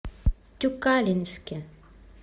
тюкалинске